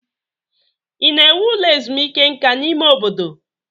Ị na-ewu ụlọ ezumike nka n'ime obodo?